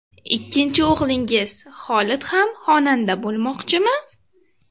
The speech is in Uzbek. Ikkinchi o‘g‘lingiz, Xolid ham xonanda bo‘lmoqchimi?